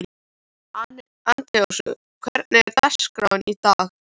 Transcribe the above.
Antoníus, hvernig er dagskráin í dag?